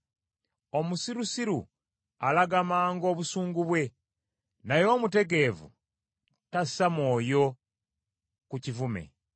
Omusirusiru alaga mangu obusungu bwe, naye omutegeevu tassa mwoyo ku kivume.